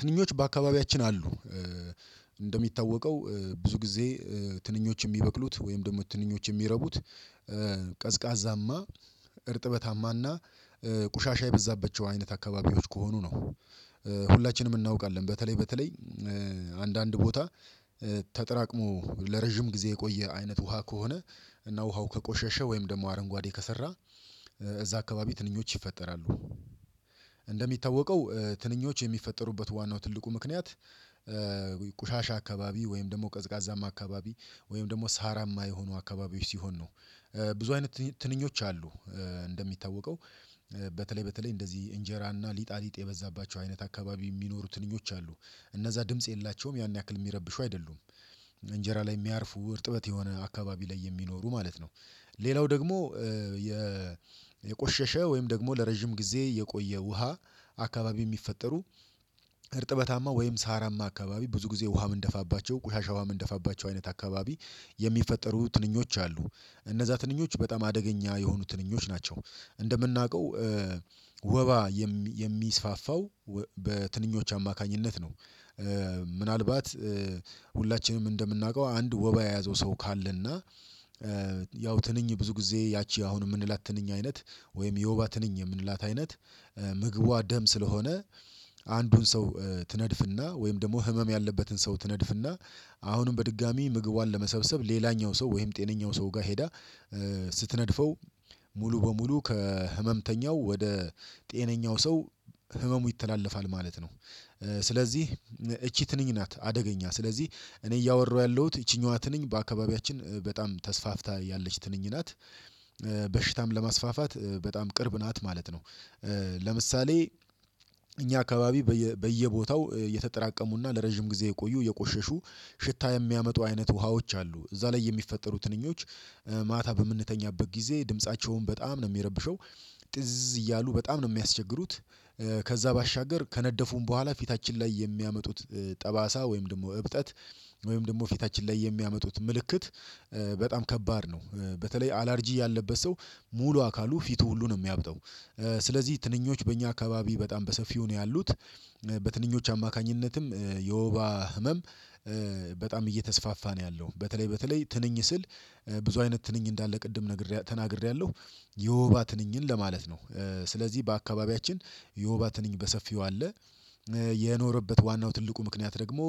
ትንኞች በአካባቢያችን አሉ። እንደሚታወቀው ብዙ ጊዜ ትንኞች የሚበቅሉት ወይም ደግሞ ትንኞች የሚረቡት ቀዝቃዛማ፣ እርጥበታማና ቁሻሻ የበዛባቸው አይነት አካባቢዎች ከሆኑ ነው። ሁላችንም እናውቃለን፤ በተለይ፣ በተለይ አንዳንድ ቦታ ተጠራቅሞ ለረጅም ጊዜ የቆየ አይነት ውሃ ከሆነ እና ውሃው ከቆሸሸ ወይም ደግሞ አረንጓዴ ከሰራ እዛ አካባቢ ትንኞች ይፈጠራሉ። እንደሚታወቀው ትንኞች የሚፈጠሩበት ዋናው ትልቁ ምክንያት ቆሻሻ አካባቢ፤ ወይም ደግሞ ቀዝቃዛም አካባቢ፤ ወይም ደግሞ ሳራማ የሆኑ አካባቢዎች ሲሆን ነው። ብዙ አይነት ትንኞች አሉ እንደሚታወቀው፤ በተለይ፣ በተለይ እንደዚህ እንጀራና ሊጣሊጥ የበዛባቸው አይነት አካባቢ የሚኖሩ ትንኞች አሉ። እነዛ ድምጽ የላቸውም፣ ያን ያክል የሚረብሹ አይደሉም። እንጀራ ላይ የሚያርፉ፣ እርጥበት የሆነ አካባቢ ላይ የሚኖሩ ማለት ነው። ሌላው ደግሞ የቆሸሸ ወይም ደግሞ ለረጅም ጊዜ የቆየ ውሃ አካባቢ የሚፈጠሩ እርጥበታማ ወይም ሳራማ አካባቢ፣ ብዙ ጊዜ ውሃ ምንደፋባቸው፣ ቆሻሻ ውሃ ምንደፋባቸው አይነት አካባቢ የሚፈጠሩ ትንኞች አሉ። እነዛ ትንኞች በጣም አደገኛ የሆኑ ትንኞች ናቸው። እንደምናውቀው የሚስፋፋው በትንኞች አማካኝነት ነው። ምናልባት ሁላችንም እንደምናውቀው አንድ ወባ የያዘው ሰው ካለና ያው ትንኝ ብዙ ጊዜ፣ ያቺ አሁን የምንላት ትንኝ አይነት፣ ወይም የወባ ትንኝ የምንላት አይነት ምግቧ ደም ስለሆነ አንዱን ሰው ትነድፍና ወይም ደግሞ ህመም ያለበትን ሰው ትነድፍና አሁንም በድጋሚ ምግቧን ለመሰብሰብ ሌላኛው ሰው፣ ወይም ጤነኛው ሰው ጋር ሄዳ ስትነድፈው ሙሉ በሙሉ ከህመምተኛው ወደ ጤነኛው ሰው ህመሙ ይተላለፋል ማለት ነው። ስለዚህ እቺ ትንኝ ናት አደገኛ። ስለዚህ እኔ እያወራሁ ያለሁት ይቺኛዋ ትንኝ በአካባቢያችን በጣም ተስፋፍታ ያለች ትንኝ ናት። በሽታም ለማስፋፋት በጣም ቅርብ ናት ማለት ነው። ለምሳሌ እኛ አካባቢ በየቦታው የተጠራቀሙና ለረጅም ጊዜ የቆዩ፣ የቆሸሹ፣ ሽታ የሚያመጡ አይነት ውሃዎች አሉ። እዛ ላይ የሚፈጠሩ ትንኞች ማታ በምንተኛበት ጊዜ ድምፃቸውን በጣም ነው የሚረብሸው። ጥዝ እያሉ በጣም ነው የሚያስቸግሩት፤ ከዛ ባሻገር ከነደፉም በኋላ ፊታችን ላይ የሚያመጡት ጠባሳ፣ ወይም ደግሞ እብጠት፣ ወይም ደግሞ ፊታችን ላይ የሚያመጡት ምልክት በጣም ከባድ ነው። በተለይ አላርጂ ያለበት ሰው ሙሉ አካሉ፣ ፊቱ ሁሉ ነው ምያብጠው። ስለዚህ ትንኞች በእኛ አካባቢ በጣም በሰፊው ነው ያሉት። በትንኞች አማካኝነትም የወባ ህመም በጣም እየተስፋፋ ነው ያለው። በተለይ፣ በተለይ ትንኝ ስል ብዙ አይነት ትንኝ እንዳለ ቅድም ነግሬያለሁ፣ ተናግሬያለሁ። የውባ ትንኝን ለማለት ነው። ስለዚህ በአካባቢያችን የውባት እኔን በሰፊው አለ። የኖረበት ዋናው ትልቁ ምክንያት ደግሞ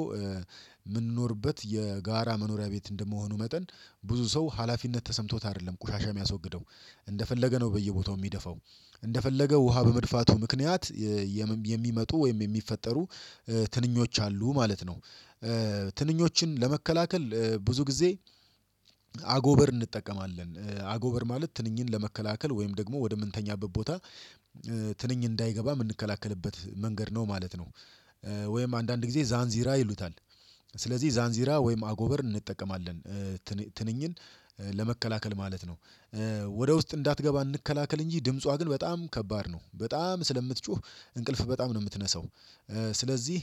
የጋራ መኖሪያ ቤት እንደመሆኑ መጠን፣ ብዙ ሰው ሀላፊነት ተሰምቶት አይደለም ቆሻሻ የሚያስወግደው። እንደፈለገ ነው በየቦታው የሚደፋው፣ እንደፈለገ ውሃ በመድፋቱ ምክንያት የብንቢ የሚመጡ ወይም የሚፈጠሩ ትንኞች አሉ ማለት ነው። ትንኞችን ለመከላከል ብዙ ጊዜ አጎበር እንጠቀማለን። አጎበር ማለት ትንኝን ለመከላከል ወይም ደግሞ ወደምንተኛበት ቦታ ትንኝ እንዳይገባ የምንከላከልበት መንገድ ነው ማለት ነው። ወይም አንዳንድ ጊዜ ዛንዚራ ይሉታል፤ ስለዚህ ዛንዚራ ወይም አጎበር እንጠቀማለን፤ ትንኝ ትንኝን ለመከላከል ማለት ነው። ወደ ውስጥ እንዳትገባ እንከላከል እንጂ ድምጿ ግን በጣም ከባድ ነው። በጣም ስለምትጮህ እንቅልፍ በጣም ነው የምትነሳው። ስለዚህ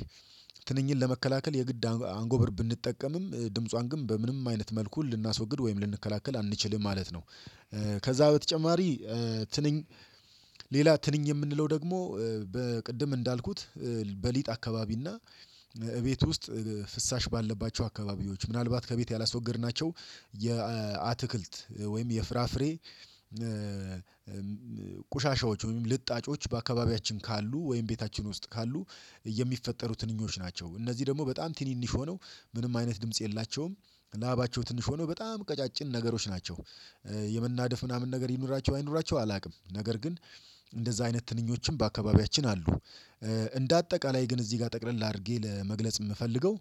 ትንኝን ለመከላከል የግድ አጎብር ብንጠቀምም ድምጿን ግን በምንም አይነት መልኩ ልናስወግድ ወይም ልንከላከል አንችልም ማለት ነው። ከዛ በተጨማሪ ትንኝ፣ ሌላ ትንኝ የምንለው ደግሞ በቅድም እንዳልኩት በሊጥ አካባቢ እና እቤት ውስጥ ፍሳሽ ባለባቸው አካባቢዎች፣ ምናልባት ከቤት ያላስወገድናቸው የአትክልት፣ ወይም የፍራፍሬ ቆሻሻዎች፣ ወይም ልጣጮች በአካባቢያችን ካሉ፣ ወይም ቤታችን ውስጥ ካሉ የሚፈጠሩ ትንኞች ናቸው። እነዚህ ደግሞ በጣም ትንንሽ ሆነው ምንም አይነት ድምጽ የላቸውም። ላባቸው ትንሽ ሆነው፣ በጣም ቀጫጭን ነገሮች ናቸው። የመናደፍ ምናምን ነገር ይኑራቸው፣ አይኑራቸው አላውቅም። ነገር ግን እንደዛ አይነት ትንኞችን በአካባቢያችን አሉ። እንደ አጠቃላይ ግን እዚህ ጋር ጠቅለል አድርጌ ለመግለጽ የምፈልገው።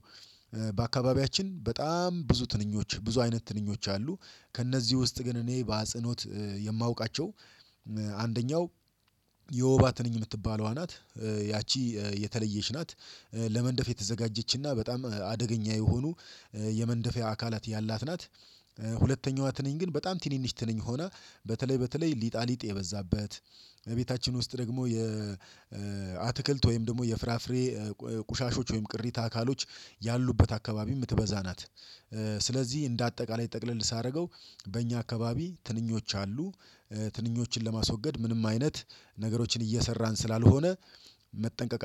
በጣም ብዙ ትንኞች፣ ብዙ አይነት ትንኞች አሉ። ከእነዚህ ውስጥ ግን እኔ በአጽኖት የማውቃቸው አንደኛው የወባት ትንኝ የምትባለዋ ናት፣ ያቺ የተለየች ናት። ለመንደፍ የተዘጋጀችና በጣም አደገኛ የሆኑ የመንደፊያ አካላት ያላት ናት። ሁለተኛዋ ትነኝ ግን በጣም ትንንሽ ትነኝ ሆና፣ በተለይ፣ በተለይ ሊጣ ሊጥ የበዛበት ቤታችን ውስጥ ደግሞ የ አትክልት ወይም ደግሞ የፍራፍሬ ቆሻሾች፣ ወይም ቅሪታ አካሎች ያሉበት አካባቢ የምትበዛ ናት። ስለዚህ እንደ አጠቃላይ ጠቅለል ሳደርገው፣ በእኛ አካባቢ ትንኞች አሉ። ትንኞችን ለማስወገድ ምንም አይነት ነገሮችን እየሰራን ስላልሆነ መጠንቀቅ